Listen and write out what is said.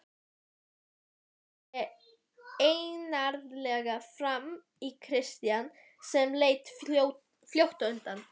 Marteinn horfði einarðlega framan í Christian sem leit fljótt undan.